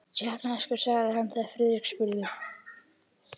Tékkneskur sagði hann, þegar Friðrik spurði.